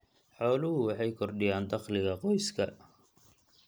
Xooluhu waxay kordhiyaan dakhliga qoyska.